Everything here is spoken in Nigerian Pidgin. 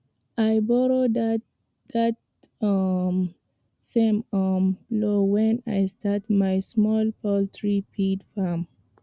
i borrow that um same um plow when i start my small poultry feed farm